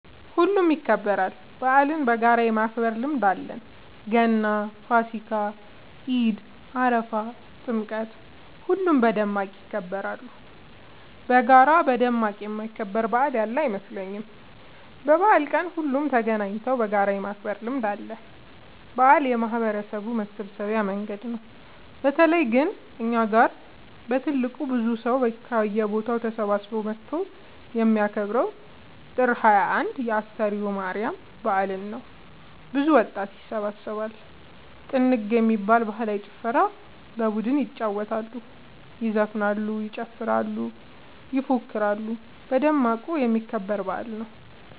ሁሉም ይከበራል። በአልን በጋራ የማክበር ልምድ አለን ገና ፋሲካ ኢድ አረፋ ጥምቀት ሁሉም በደማቅ ይከበራሉ። በጋራ በደማቅ የማይከበር በአል ያለ አይመስለኝም። በበአል ቀን ሁሉም ተገናኘተው በጋራ የማክበር ልምድ አለ። በአል የማህበረሰቡ መሰብሰቢያ መንገድ ነው። በተለይ ግን እኛ ጋ በትልቁ ብዙ ሰው ከየቦታው ተሰብስበው መተው የሚከበረው ጥር 21 የ አስተርዮ ማርያም በአል ነው። ብዙ ወጣት ይሰባሰባሉ። ጥንግ የሚባል ባህላዊ ጨዋታ በቡድን ይጫወታሉ ይዘፍናሉ ይጨፍራሉ ይፎክራሉ በደማቁ የሚከበር በአል ነው።